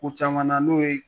Ko caman na n'o ye